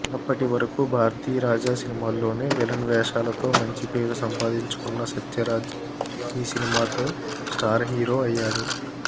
అప్పటి వరకూ భారతీరాజా సినిమాల్లోనే విలన్ వేషాలతో మంచి పేరు సంపాదించుకున్న సత్యరాజ్ ఈ సినిమాతో స్టార్ హీరో అయ్యాడు